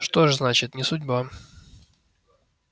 что ж значит не судьба